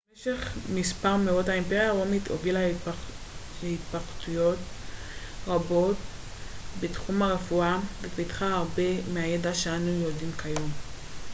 במשך מספר מאות האימפריה הרומית הובילה להתפתחויות רבות בתחום הרפואה ופיתחה הרבה מהידע שאנו יודעים כיום